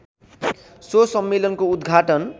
so सम्मेलनको उद्घाटन